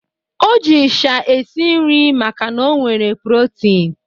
O ji ịsha esi nri makana ọ nwere protini.